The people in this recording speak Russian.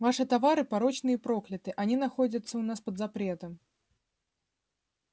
ваши товары порочны и прокляты они находятся у нас под запретом